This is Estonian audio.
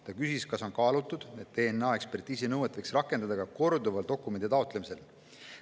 Ta küsis, kas on kaalutud, et DNA‑ekspertiisi nõuet võiks rakendada ka korduval dokumendi taotlemisel.